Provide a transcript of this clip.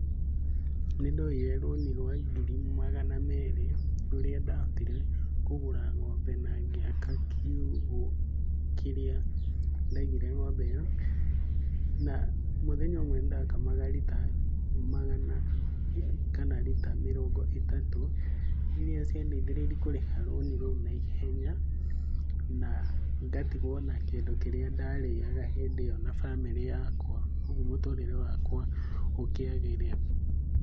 Nĩndoire rũni rwa ngiri magana merĩ. Rũrĩa ndahotire kũgũra ng'ombe na ngĩaka kiugũ kĩrĩa daigire ng'ombe ĩyo. Na mũthenya ũmwe nĩdakamaga rita magana kana rita mĩrongo ĩtatũ. Iria ciadeithĩrĩirie kũrĩha rũni rũu naihenya na ngatigwo na kĩndũ kĩrĩa ndarĩaga hĩndĩ ĩo na bamĩrĩ yakwa. Ũguo mũtũrĩre wakwa ũkĩagĩrĩra.